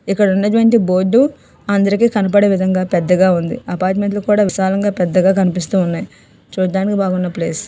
ఇక్కడ ఉన్నటువంటి బోర్డు అందరికి కనబడే విధంగా పెద్దగా ఉంది. అపార్ట్మెంట్స్ కూడా విశాలం గా పెద్దగా కనిపిస్తున్నాయి. చూడ్డానికి బాగున్నా ప్లేస్ --